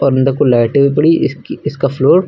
को लाइटें भी पड़ी इसकी इसका फ्लोर --